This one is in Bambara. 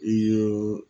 I y'o